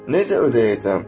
Necə ödəyəcəm?